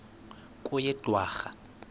kweyedwarha